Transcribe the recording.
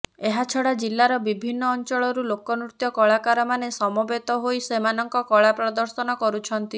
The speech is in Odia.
ଏହାଛଡ଼ା ଜିଲ୍ଳାର ବିଭିନ୍ନ ଅଞ୍ଚଳରୁ ଲୋକ ନୃତ୍ୟ କଳାକାରମାନେ ସମବେତ ହୋଇ ସେମାନଙ୍କ କଳାପ୍ରଦର୍ଶନ କରୁଛନ୍ତି